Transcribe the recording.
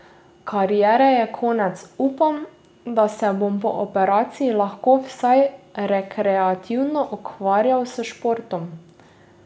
Kariere je konec, upam, da se bom po operaciji lahko vsaj rekreativno ukvarjal s športom.